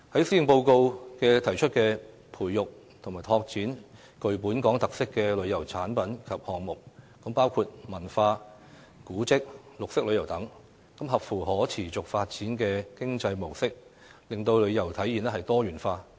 施政報告提出培育及拓展具本港特色的旅遊產品及項目，包括文化、古蹟、綠色旅遊等，配合可持續發展的經濟模式，令旅遊體驗多元化。